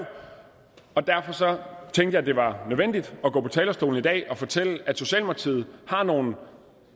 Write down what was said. og derfor tænkte jeg det var nødvendigt at gå på talerstolen i dag og fortælle at socialdemokratiet har nogle